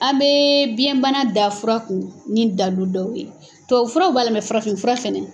An bɛ biyɛnbana da fura kun ni dalilu dɔw ye tubabufuraw b'a la n ka farafinfura fɛnɛ